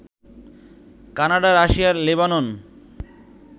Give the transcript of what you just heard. Canada, Russia, Lebanon